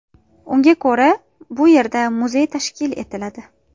Unga ko‘ra, bu yerda muzey tashkil etiladi.